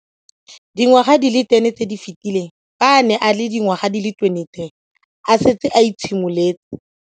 Dingwaga di le 10 tse di fetileng, fa a ne a le dingwaga di le 23 mme a setse a itshimoletse.